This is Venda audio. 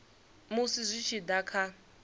musi zwi tshi da kha